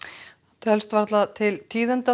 telst varla til tíðinda